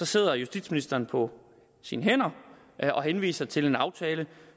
sidder justitsministeren på sine hænder og henviser til en aftale